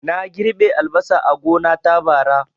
Na girɓi albasa a gona ta, bara